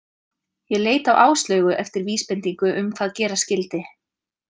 Ég leit á Áslaugu eftir vísbendingu um hvað gera skyldi.